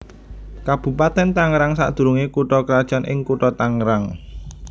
Kabupatèn Tangerang sadurungé kutha krajan ing Kutha Tangerang